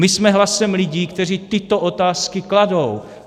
My jsme hlasem lidí, kteří tyto otázky kladou.